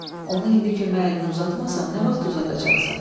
Onu indi kömək əlini uzatmasan, nə vaxt uzadacaqsan?